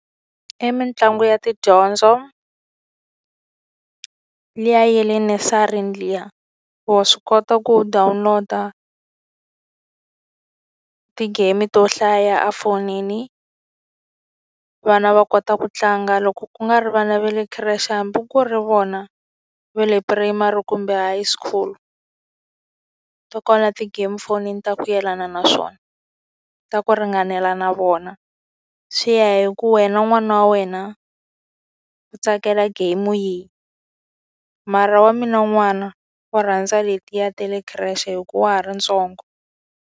I mitlangu ya tidyondzo, liya ya le nursery liya. Wa swi kota ku download-a ti-game to hlaya efonini. Vana va kota ku tlanga. Loko ku nga ri vana va le creche hambi ku ri vona va le primary kumbe high school, ti kona ti-game fonini ta ku yelana na swona, ta ku ri ringanela na vona. Swi ya hi ku wena n'wana wa wena u tsakela game yihi. Mara wa mina n'wana u rhandza letiya ta le khireshe hikuva ha ri ntsongo.